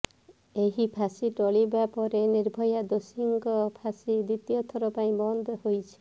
ଏହି ଫାଶୀ ଟଳିବା ପରେ ନିର୍ଭୟା ଦୋଷୀଙ୍କ ଫାଶୀ ଦ୍ୱିତୀୟ ଥର ପାଇଁ ବନ୍ଦ ହୋଇଛି